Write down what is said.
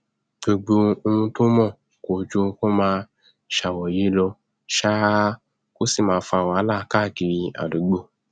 gbogbo ohun tó mọ kò ju kó máa ṣàròyé lọ ṣáá kó sì máa fa wàhálà káàkiri àdúgbò